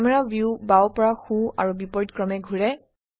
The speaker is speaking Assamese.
ক্যামেৰা ভিউ বাও পৰা সো আৰু বিপৰীতক্ৰমে ঘোৰে